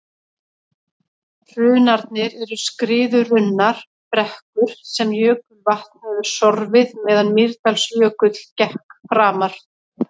hrunarnir eru skriðurunnar brekkur sem jökulvatn hefur sorfið meðan mýrdalsjökull gekk framar